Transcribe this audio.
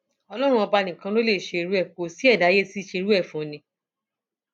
ọlọrun ọba nìkan ló lè ṣe irú ẹ kó ṣi ẹdá ayé tí í ṣe irú ẹ fún ni